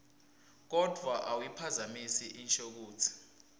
kodvwa awuyiphazamisi inshokutsi